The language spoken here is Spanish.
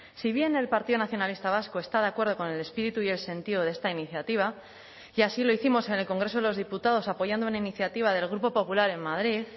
si bien el partido nacionalista vasco está de acuerdo con el espíritu y el sentido de esta iniciativa y así lo hicimos en el congreso de los diputados apoyando una iniciativa del grupo popular en madrid